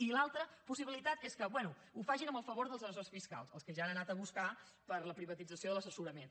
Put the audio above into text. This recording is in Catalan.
i l’altra possibilitat és que bé ho facin amb el favor dels assessors fiscals els que ja han anat a buscar per a la privatització de l’assessorament